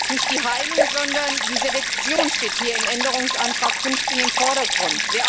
Nicht die Heilung, sondern die Selektion steht im Änderungsantrag 15 im Vordergrund.